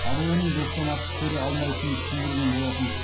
ару оның достан артық көре алмайтынын түсіндірген болатын